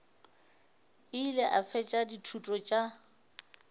ile a fetša dithuto tša